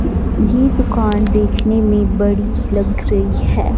ये तो कार देखने में बड़ी लग रही हैं।